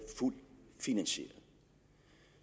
fuldt finansieret